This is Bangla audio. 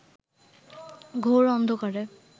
ঘোর অন্ধকারে